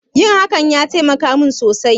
Yin hakan ya taimaka mun sosai